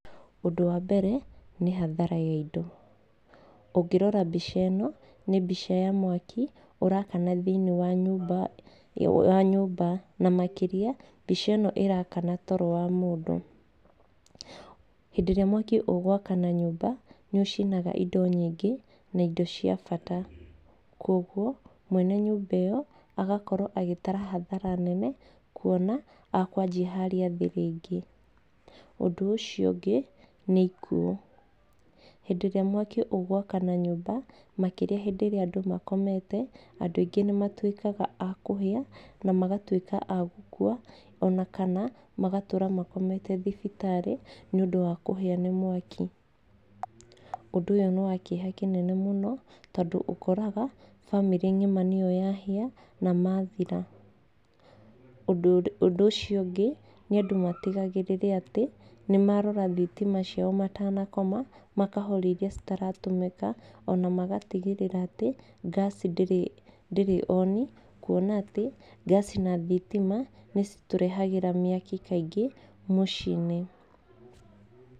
Ũndũ wa mbere, nĩ hathara ya indo. Ũngĩrora mbia ĩno, nĩ mbica ya mwaki, ũrakana thĩinĩ wa nyũmba wa nyũmba. Na makĩria, mbica ĩno ĩrakana toro wa mũndũ. Hĩndĩ ĩrĩa mwaki ũgũkwana nyũmba, nĩ ũcinaga indo nyingĩ, na indo cia bata. Kũguo, mwene nyũmba ĩyo, agakorwo agĩtara hathara nene, kuona, akwanji harĩa thĩ rĩngĩ. Ũndũ ũcio ũngĩ, nĩ ikuũ. Hĩndĩ ĩrĩa mwaki ũgũkwana nyũmba, makĩria hĩndĩ ĩrĩa andũ makomete, andũ aingĩ nĩ matuĩkaga a kũhĩa, na magatuĩka a gũkua, ona kana, magatũũra makomete thibitarĩ nĩ ũndũ wa kũhĩa nĩ mwaki. Ũndũ ũyũ nĩ wa kĩeha kĩnene mũno, tondũ ũkoraga, bamĩrĩ ng'ima nĩyo yahĩa, na mathira. Ũndũ ũndũ ũcio ũngĩ, nĩ andũ matigagĩrĩre atĩ, nĩ marora thitima ciao matanakoma, makahoria irĩa citaratũmĩka, ona magatigĩrĩra atĩ, ngaci ndĩrĩ ndĩrĩ on, kuona atĩ, ngaci na thitima, nĩcio citũrehagĩra mĩaki kaingĩ, mũciĩ-inĩ.